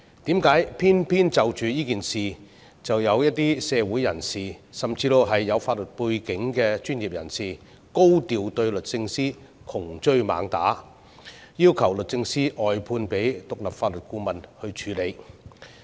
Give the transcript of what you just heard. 為何偏偏就着這件事，卻有一些社會人士，甚至有法律背景的專業人士高調對律政司窮追猛打，要求律政司外判給獨立法律顧問處理？